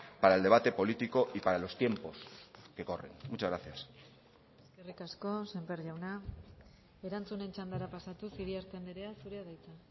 para el debate político y para los tiempos que corren muchas gracias eskerrik asko sémper jauna erantzunen txandara pasatuz iriarte andrea zurea da hitza